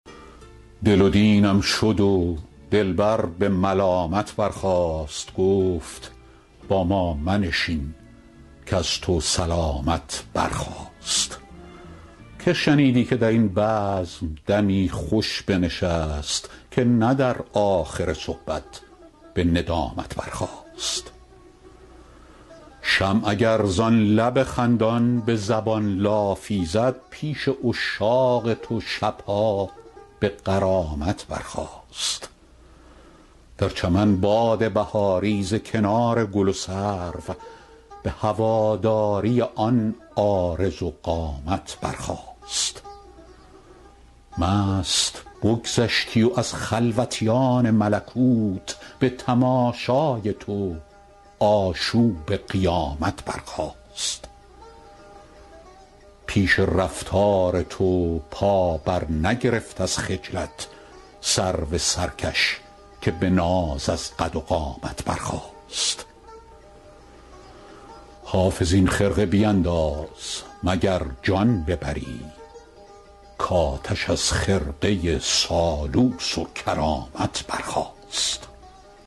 دل و دینم شد و دلبر به ملامت برخاست گفت با ما منشین کز تو سلامت برخاست که شنیدی که در این بزم دمی خوش بنشست که نه در آخر صحبت به ندامت برخاست شمع اگر زان لب خندان به زبان لافی زد پیش عشاق تو شب ها به غرامت برخاست در چمن باد بهاری ز کنار گل و سرو به هواداری آن عارض و قامت برخاست مست بگذشتی و از خلوتیان ملکوت به تماشای تو آشوب قیامت برخاست پیش رفتار تو پا برنگرفت از خجلت سرو سرکش که به ناز از قد و قامت برخاست حافظ این خرقه بینداز مگر جان ببری کآتش از خرقه سالوس و کرامت برخاست